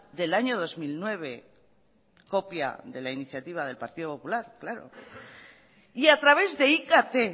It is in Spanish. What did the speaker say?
del año dos mil nueve copia de la iniciativa del partido popular claro y a través de ikt